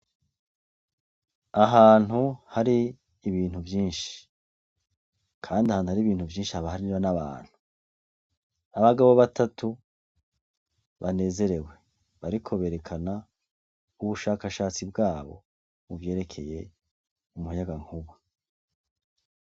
Ahantu hari ibintu vyinshi ,kandi ahantu hari ibintu vyinshi haba hariyo n'abantu ,abagabo batatu banezerewe, bariko berekana ubushakashatsi bwabo muvyerekeye umuyagankuba.